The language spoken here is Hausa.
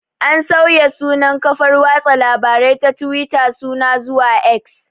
An sauya sunan kafar watsa labarai ta tuwita suna zuwa 'X'